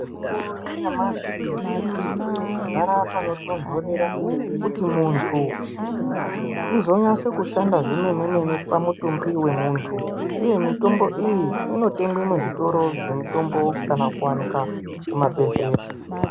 Mitombo yanyamashi inosise kugara panotontorera kuti munthu izonyasa kushanda zvemene-mene pamutumbi wemuntu uye mitombo iyi inotengwe muzvitoro zvemitombo kana kuwanikwa kumabhedhleya.